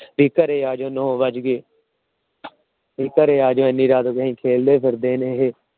ਵੀ ਘਰੇ ਆ ਜਾਉ ਨੋ ਵੱਜ ਗਏ। ਵੀ ਘਰੇ ਆ ਜਾਉ ਇੰਨੀ ਰਾਤ ਹੋ ਗਈ ਹਜੇ ਖੇਲਦੇ ਫਿਰਦੇ ਨੇ ਇਹ।